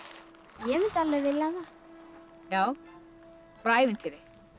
ég mundi alveg vilja það já bara ævintýri